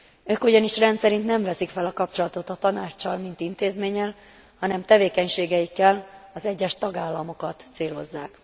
Ők ugyanis rendszerint nem veszik fel a kapcsolatot a Tanáccsal, mint intézménnyel, hanem tevékenységeikkel az egyes tagállamokat célozzák.